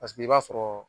Paseke i b'a sɔrɔ